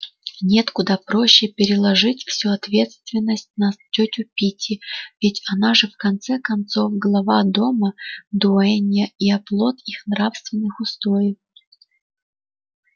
нет куда проще переложить всю ответственность на тётю питти ведь она же в конце концов глава дома дуэнья и оплот их нравственных устоев